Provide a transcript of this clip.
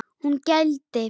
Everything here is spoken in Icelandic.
Hún gældi.